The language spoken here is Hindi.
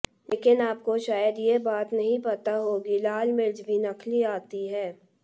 लेकिन आपको शायद ये बात नहीं पता होगी लाल मिर्च भी नकली आती हैं